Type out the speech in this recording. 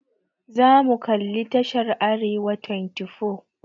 Za mu kalli tashar Arewa24.